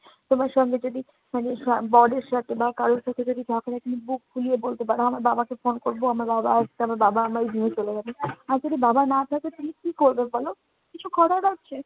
তোমার সঙ্গে যদি মানে বরের সাথে বা কারো সাথে যদি বুক ফুলিয়ে বলতে পারো, আমার বাবাকে ফোন করবো, আমার বাবা আসবে আমার বাবা আমায় নিয়ে চলে যাবে। আর যদি বাবা না থাকে, তাহলে কি করবে বলো? কিছু করার আছে?